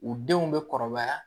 U denw bɛ kɔrɔbaya